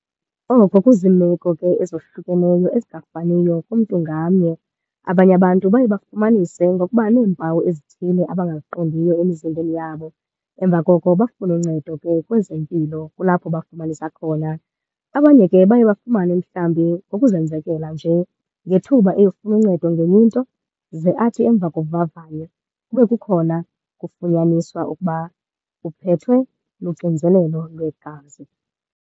Oko kuziimeko ke ezohlukeneyo ezingafaniyo kumntu ngamnye. Abanye abantu baye bafumanise ngokuba neempawu ezithile abangaziqondiyo emizimbeni yabo. Emva koko bafune uncedo ke kwezempilo, kulapho bafumanisa khona. Abanye ke baye bafumane mhlawumbi ngokuzenzekela nje ngethuba eyofuna uncedo ngenye into, ze athi emva kovavanyo kube kukhona kufunyaniswa ukuba uphethwe luxinzelelo lwegazi.